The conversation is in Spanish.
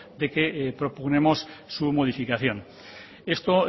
de que propugnemos su modificación esto